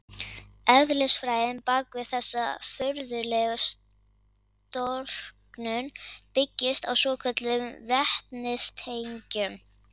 Eðlisfræðin bak við þessa furðulegu storknun byggist á svokölluðum vetnistengjum.